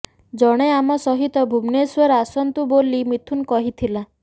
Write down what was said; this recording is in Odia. ଜଣେ ଆମ ସହିତ ଭୁବନେଶ୍ୱର ଆସନ୍ତୁ ବୋଲି ମିଥୁନ କହିଥିଲା